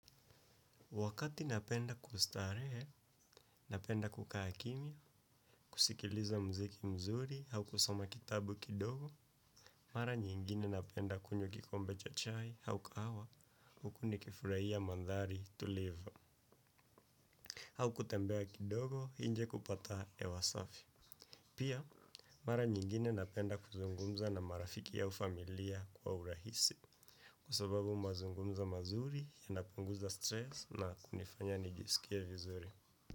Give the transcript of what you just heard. Wakati napenda kustarehe, napenda kukaa kimya, kusikiliza mziki mzuri, au kusoma kitabu kidogo, mara nyingine napenda kunywa kikombe cha chai, au kahawa, huku nikifurahia mandhari tulivu, au kutembea kidogo, nje kupata hewa safi. Pia, mara nyingine napenda kuzungumza na marafiki au familia kwa urahisi, kwa sababu mazungumzo mazuri, yanapunguza stress na kunifanya nijisikie vizuri.